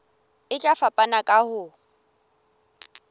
e tla fapana ka ho